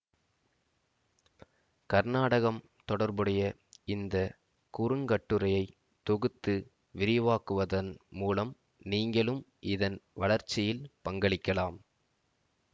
கர்நாடகம் தொடர்புடைய இந்த குறுங்கட்டுரையை தொகுத்து விரிவாக்குவதன் மூலம் நீங்களும் இதன் வளர்ச்சியில் பங்களிக்கலாம்